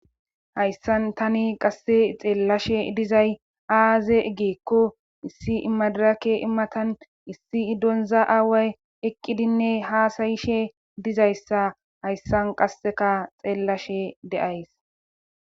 hayssan tani qasse xeellashe dizay aaze egeekko issi imadirake immatan issi iddonza aaway eqqidinne haasayishe dizayssa hayssan qasseka xeellashe de7ays